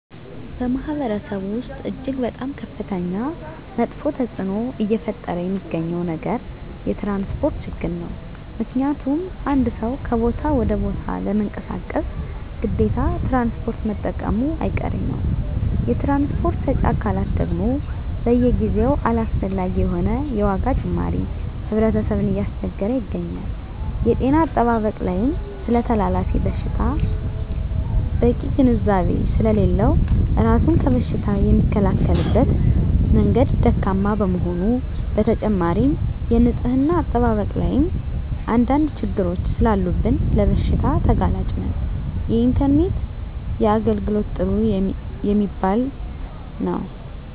በማህበረሰቡ ወስጥ እጅግ በጣም ከፍተኛ መጥፌ ተፅዕኖ እየፈጠረ የሚገኘው ነገር የትራንስፖርት ችግር ነው ምክንያቱም አንድ ሰው ከቦታ ወደ ቦታ ለመንቀሳቀስ ግዴታ ትራንስፖርት መጠቀሙጨ አይቀሬ ነው የትራንስፖርት ሰጪ አካላት ደግም በየጊዜው አላስፈላጊ የሆነ የዋጋ ጭማሪ ህብረተሰብን እያስቸገረ ይገኛል። የጤና አጠባበቅ ላይም ስለተላላፊ በሽታወች በቂ ግንዛቤ ስሌለለው እራሱን ከበሽታ የሚከላከልበት መንገድ ደካማ በመሆኑ በተጨማሪም የንፅህና አጠባበቅ ላይም አንድ አንድ ችግሮች ሰላሉብን ለበሽታ ተጋላጭ ነን። የኢንተርኔት የአገልግሎት ጥሩ የሚባል የው።